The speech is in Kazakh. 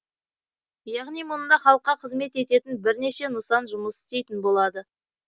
яғни мұнда халыққа қызмет ететін бірнеше нысан жұмыс істейтін болады